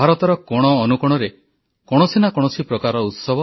11 ସେପ୍ଟେମ୍ବରରୁ ଅକ୍ଟୋବର 2 ଯାଏ ଦେଶବ୍ୟାପୀ ସ୍ୱଚ୍ଛତା ହିଁ ଦେବା ଅଭିଯାନ